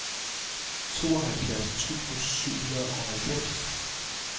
tooghalvfjerds tusind og syvoghalvfems